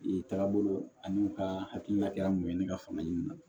Ee tagabolo ani u ka hakilina kɛra mun ye ne ka fanga ɲinin'a la